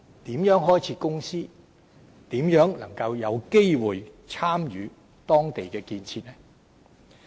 如何開設公司，如何能夠有機會參與當地的建設？